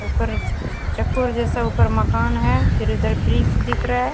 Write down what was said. ऊपर चकोर जैसा ऊपर मकान है। फिर उधर वृक्ष दिख रहा है।